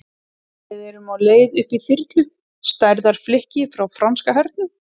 Við erum á leið upp í þyrlu, stærðar flikki frá franska hernum.